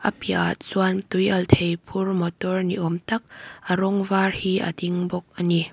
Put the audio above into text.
piahah chuan tui alh thei phur mawtawr ni awm tak a rawng var hi a ding bawk a ni.